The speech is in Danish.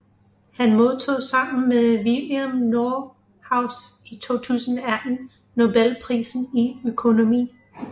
Han modtog sammen med William Nordhaus i 2018 Nobelprisen i økonomi